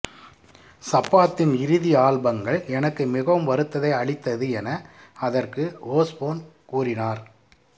சப்பாத்தின் இறுதி ஆல்பங்கள் எனக்கு மிகவும் வருத்தத்தை அளித்தது என அதற்கு ஓஸ்போன் கூறினார்